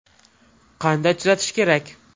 Qanday tuzatish kerak?